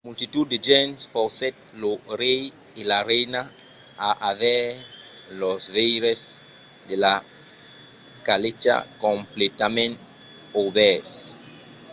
la multitud de gents forcèt lo rei e la reina a aver los veires de sa calècha completament obèrts